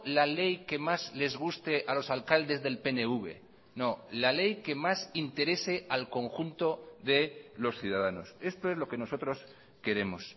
la ley que más les guste a los alcaldes del pnv no la ley que más interese al conjunto de los ciudadanos esto es lo que nosotros queremos